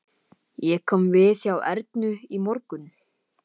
Ég kom við hjá Ernu í morgun.